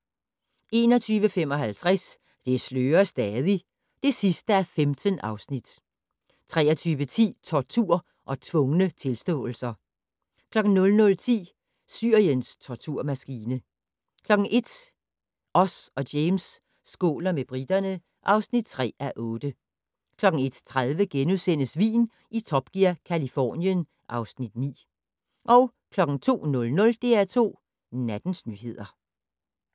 21:55: Det slører stadig (15:15) 23:10: Tortur og tvungne tilståelser 00:10: Syriens torturmaskine 01:00: Oz og James skåler med briterne (3:8) 01:30: Vin i Top Gear - Californien (Afs. 9)* 02:00: DR2 Nattens nyheder